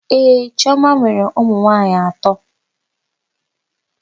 Ee, chiọma nwere ụmụnwaanyị atọ.